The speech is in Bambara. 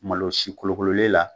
Malo sikolokololen la